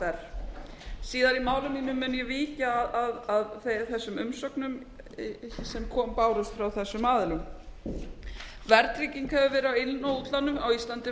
síðar í málinu mun ég víkja að þessum umsögnum sem bárust frá þessum aðilum verðtrygging hefur verið á inn og útlánum á íslandi